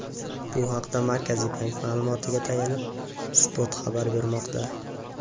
Bu haqda Markaziy bank ma’lumotiga tayanib, Spot xabar bermoqda .